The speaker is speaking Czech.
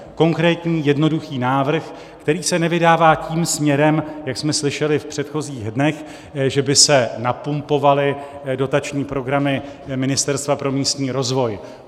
Konkrétní jednoduchý návrh, který se nevydává tím směrem, jak jsme slyšeli v předchozích dnech, že by se napumpovaly dotační programy Ministerstva pro místní rozvoj.